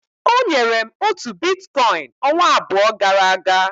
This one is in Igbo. O nyere m otu Biticoin ọnwa abụọ gara aga.